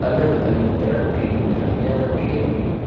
अलग अलग तरह की मिठाइयां रखी हुई है।